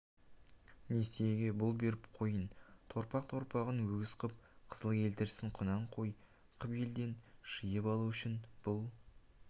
несиеге бұл беріп қойын торпақ торпағын өгіз ғып қызыл елтірісін құнан қой қып елден жиып алу үшін бұл